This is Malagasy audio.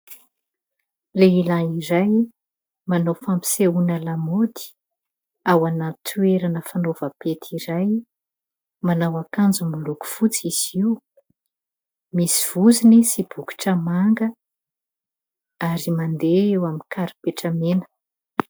Lehilahy iray manao fampisehoana lamaody ao anaty toerana fanaovam-pety iray, manao akanjo miloko fotsy izy io, misy vozony sy bokotra manga ary mandeha eo amin'ny karipetra mena.